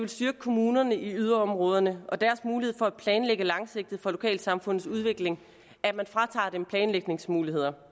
styrke kommunerne i yderområderne og deres mulighed for at planlægge langsigtet for lokalsamfundets udvikling at man fratager dem planlægningsmuligheder